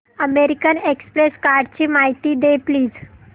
American Express कार्डची माहिती दे प्लीज